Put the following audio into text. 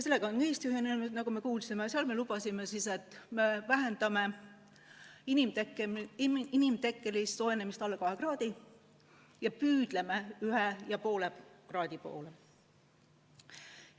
Sellega on ka Eesti ühinenud ja seal me lubame, et me vähendame inimtekkelise soojenemise alla 2 kraadi ja püüdleme 1,5 kraadi poole.